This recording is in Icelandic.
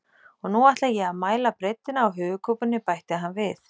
Og nú ætla ég að mæla breiddina á höfuðkúpunni, bætti hann við.